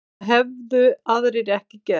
Það hefðu aðrir ekki gert